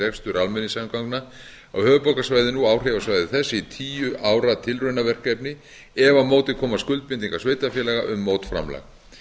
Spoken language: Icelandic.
rekstur almenningssamgangna á höfuðborgarsvæðinu og áhrifasvæði þess í tíu ára tilraunaverkefni ef á móti koma skuldbindingar sveitarfélaga um mótframlag